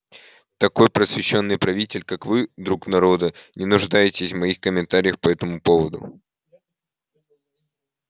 такой просвещённый правитель как вы друг народа не нуждаетесь в моих комментариях по этому поводу